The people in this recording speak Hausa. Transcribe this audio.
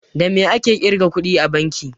Da me ake ƙirga kuɗi a banki?